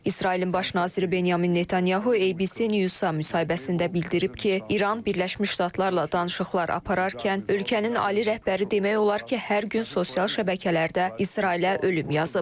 İsrailin Baş naziri Benyamin Netanyahunun ABC News-a müsahibəsində bildirib ki, İran Birləşmiş Ştatlarla danışıqlar apararkən ölkənin ali rəhbəri demək olar ki, hər gün sosial şəbəkələrdə İsrailə ölüm yazıb.